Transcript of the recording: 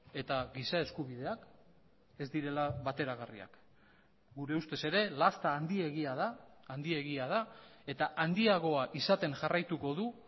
eta giza eskubideak ez direla bateragarriak gure ustez ere lasta handiegia da handiegia da eta handiagoa izaten jarraituko du